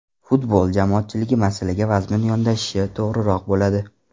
Futbol jamoatchiligi masalaga vazmin yondashishi to‘g‘riroq bo‘ladi.